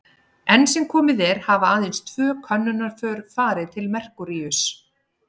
Enn sem komið er hafa aðeins tvö könnunarför farið til Merkúríuss.